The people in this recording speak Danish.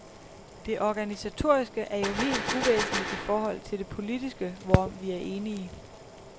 Det organisatoriske er jo helt uvæsentligt i forhold til det politiske, hvorom vi er enige.